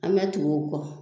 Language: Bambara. An bɛ tugu u kɔ